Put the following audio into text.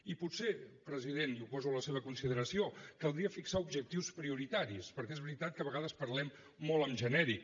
i potser president i ho poso a la seva consideració caldria fixar objectius prioritaris perquè és veritat que a vegades parlem molt en genèric